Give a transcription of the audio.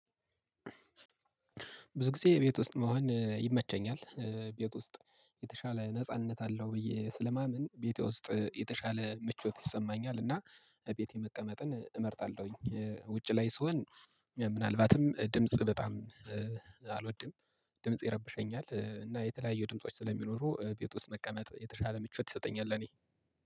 ብዙ ጊዜ የቤት ውስጥ መሆን ይመቸኛል ቤት ውስጥ የተሻለ ነጻነት አለው ብዬ ስለማመን ቤቴ ውስጥ የተሻለ ምቾት ይሰማኛል እና ቤቴ መቀመጥን እመርጣለሁኝ። ውጪ ላይ ስሆን ምናልባትም ድምጽ በጣም አልወድም። ድምጽ ይረበሸኛል እና የተለያዩ ድምጾች ስለሚኖሩ ቤት ውስጥ መቀመጥ የተሻለ ምቾት ይሰጠኛል። ለእኔ